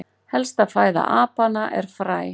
helsta fæða apanna er fræ